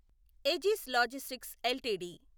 Aegis logistics LTD